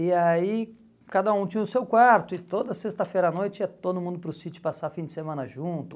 E aí cada um tinha o seu quarto e toda sexta-feira à noite ia todo mundo para o sítio passar fim de semana junto.